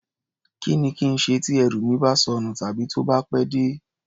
Kí ni kí n ṣe tí ẹrù mi bá sọnù tàbí tó bá pẹ́ dé?